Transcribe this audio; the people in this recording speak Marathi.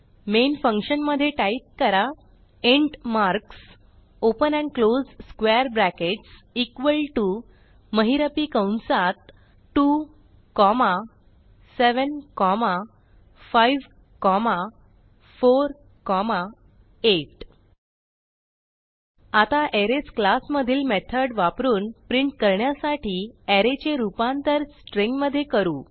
मेन फंक्शन मधे टाईप करा int marks open and close square brackets equal to महिरपी कंसात 2 कॉमा 7 5 4 8 आता अरेज क्लास मधील मेथड वापरून प्रिंट करण्यासाठी अरे चे रूपांतर स्ट्रिंग मधे करू